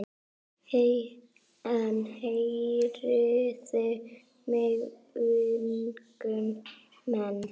En heyrið mig ungu menn.